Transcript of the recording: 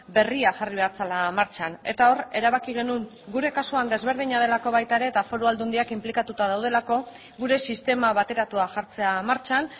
berria jarri behar zela martxan eta hor erabaki genuen gure kasuan ezberdina delako baita ere eta foru aldundiak inplikatuta daudelako gure sistema bateratua jartzea martxan